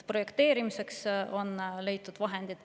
Projekteerimiseks on leitud vahendid.